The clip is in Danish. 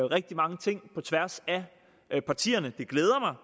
rigtig mange ting på tværs af partierne og det glæder mig